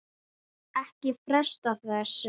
Ekki fresta þessu